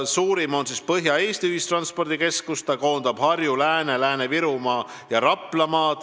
Suurim on Põhja-Eesti ühistranspordikeskus, mis koondab Harju-, Lääne-, Lääne-Virumaa ja Raplamaa.